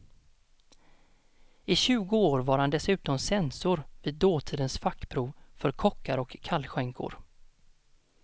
I tjugo år var han dessutom censor vid dåtidens fackprov för kockar och kallskänkor.